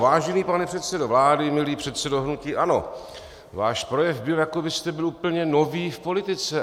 Vážený pane předsedo vlády, milý předsedo hnutí ANO, váš projev byl, jako byste byl úplně nový v politice.